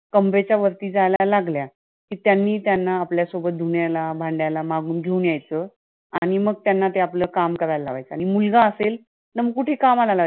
कमरेच्या वरती जायला लागल्या, की त्यांनी त्यांना आपल्यासोबत धुन्याला, भांड्याला मागून घेऊन यायचंआणि मग त्यांना ते आपलं काम करायला लावायचं, आणि मुलगा असेल त कुठेही कामाला